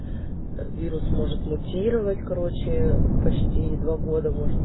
вирус может мутировать короче почти два года может